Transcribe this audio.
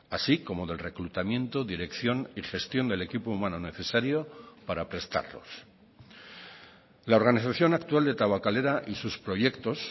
así como del reclutamiento dirección y gestión del equipo humano necesario para prestarlos la organización actual de tabakalera y sus proyectos